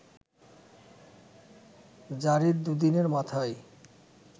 জারির দু'দিনের মাথায়